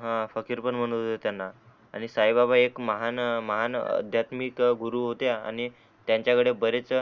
हा फकीर पण म्हणत होते त्यांना आणि साई बाबा एक महान महान अध्यातमिक गुरु होते आणि त्यांच्या कडे बरेच